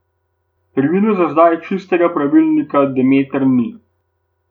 Pri vinu za zdaj čistega pravilnika Demeter ni.